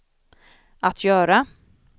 att göra